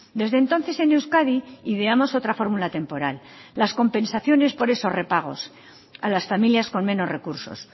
desde entonces en euskadi ideamos otra fórmula temporal las compensaciones por esos repagos a las familias con menos recursos